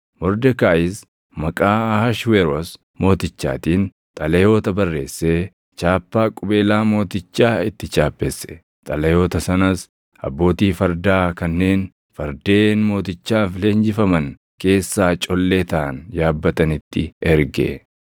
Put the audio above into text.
Mordekaayis maqaa Ahashweroos Mootichaatiin xalayoota barreessee chaappaa qubeelaa mootichaa itti chaappesse; xalayoota sanas abbootii fardaa kanneen fardeen mootichaaf leenjifaman keessaa collee taʼan yaabbatanitti erge.